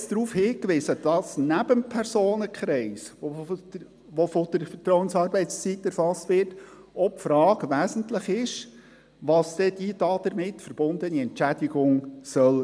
Ich habe bereits darauf hingewiesen, dass neben dem Personenkreis, der von der Vertrauensarbeitszeit erfasst wird, auch die Frage wesentlich ist, welches die damit verbundene Entschädigung sein soll.